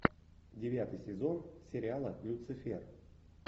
девятый сезон сериала люцифер